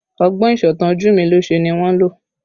Ọgbọ́n ìsọ̀tàn ojumilose ni wọ́n lò